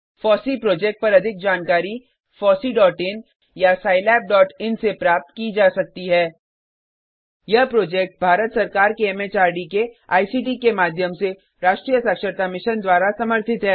FOSSEE project पर अधिक जानकारी fosseeइन या scilabइन से प्राप्त की जा सकती है यह प्रोजेक्ट भारत सरकार के एमएचआरडी के आईसीटी के माध्यम से राष्ट्रीय साक्षरता मिशन द्वारा समर्थित है